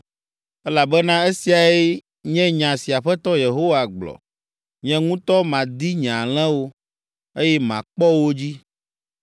“Elabena esiae nye nya si Aƒetɔ Yehowa gblɔ, ‘Nye ŋutɔ madi nye alẽwo, eye makpɔ wo dzi.